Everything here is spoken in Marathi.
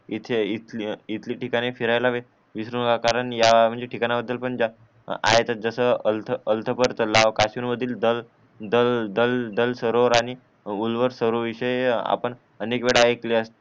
इथे इथली ठिकाणे फिरायला विसरू नका कारण म्हणजे या ठीकाना बदलम्हणजे आहेत जसं आलथा आलथा पर तलाव काश्मीर मधील दल दल सरोव्हर आणि उल्व्हर सर्व्हर विषयी आपण अनेक वेळा ऐकवले